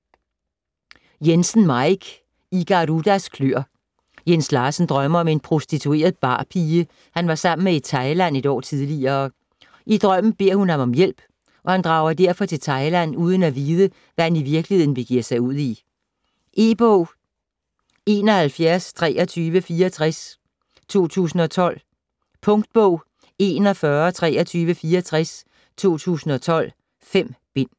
Jensen, Maik: I Garudas kløer Jens Larsen drømmer om en prostitueret barpige, han var sammen med i Thailand et år tidligere. I drømmen beder hun ham om hjælp, og han drager derfor til Thailand uden at vide, hvad han i virkeligheden begiver sig ud i. E-bog 712364 2012. Punktbog 412364 2012. 5 bind.